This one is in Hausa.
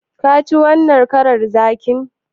Ka ji wannan karar zakin?